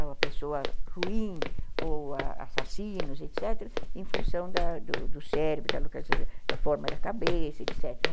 a uma pessoa ruim ou assassinos, etc., em função da da do cérebro, da forma da cabeça, etc.